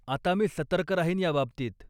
आता मी सतर्क राहीन याबाबतीत.